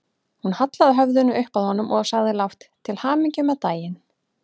Hún hallaði höfðinu upp að honum og sagði lágt: Til hamingju með daginn